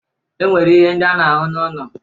E nwere ihe ndị a na-ahụ n'ụlọ.